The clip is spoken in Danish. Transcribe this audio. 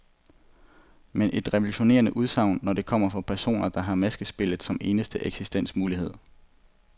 Men et revolutionerende udsagn, når det kommer fra personer, der har maskespillet som eneste eksistensmulighed.